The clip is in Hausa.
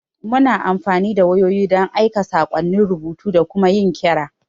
Muna amfani da wayoyi don aika saƙonnin rubutu da kuma yin kira.